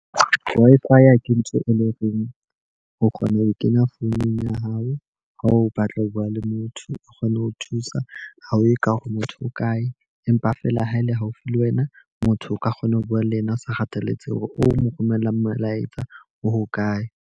Wi-Fi ke ntho e le horeng o kgona ho e kenya founung ya hao. Ha o batla ho bua le motho, o kgone ho thusa. Ha o ye ka hore motho o kae, empa feela ha e le haufi le wena, motho o ka kgona ho bua le yena. O sa kgathalletse hore o mo romella molaetsa o hokae.